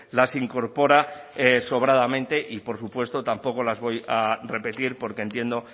las incorpora sobradamente y por supuesto tampoco las voy a repetir porque entiendo